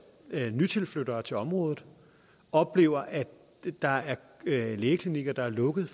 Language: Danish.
at nytilflyttere til området oplever at der er lægeklinikker der er lukket